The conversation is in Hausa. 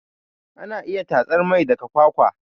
Anayin iya tatsar mai daga kwakwa